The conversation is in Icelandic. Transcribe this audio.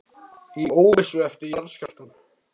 Í óvissu eftir jarðskjálftann